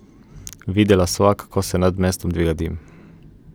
Videla sva, kako se nad mestom dviga dim.